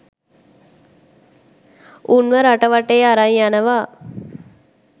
උන්ව රට වටේ අරන් යනවා.